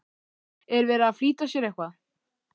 Er verið að flýta sér eitthvað?